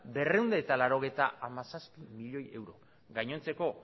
berrehun eta laurogeita hamazazpi milioi euro gainontzeko